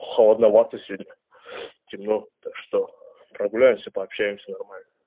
холодновато сегодня темно так что прогуляемся пообщаемся нормально